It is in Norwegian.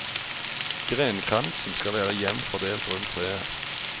Grenkransen skal være jevnt fordelt rundt treet.